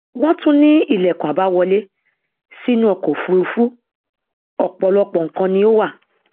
wọn tún ní ìlẹkùn àbáwọlé sínú ọkọ òfurufú ọpọlọpọ nǹkan ni ó wà